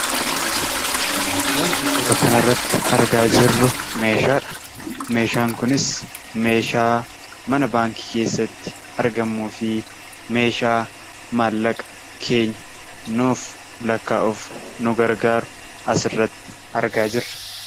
Wanti suura kanarratti argaa jiru meeshaadha. Meeshaan kunis meeshaa mana baankii keessatti argamuu fi meeshaa maallaqa keenya nuuf lakkaa’uuf nu gargaaru asirratti argaa jirra.